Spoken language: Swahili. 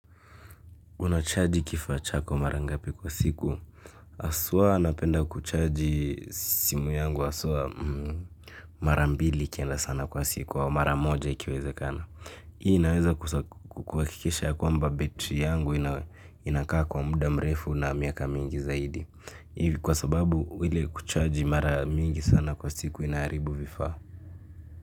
Unachaji kifaa chako mara ngapi kwa siku. Haswa napenda kuchaji simu yangu haswa. Mara mbili ikienda sana kwa siku au mara moja ikiwezekana. Hii inaweza kuhakikisha ya kwamba betri yangu inakaa kwa muda mrefu na miaka mingi zaidi. Hivi kwa sababu ile kuchaji mara mingi sana kwa siku inaharibu vifaa.